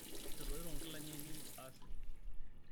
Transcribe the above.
etoito nkilani ainei aasioki